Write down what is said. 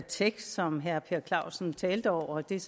tekst som herre per clausen talte over og det er